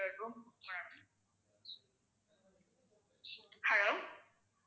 Hello